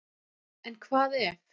En hvað ef.